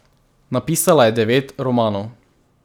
Napisala je devet romanov.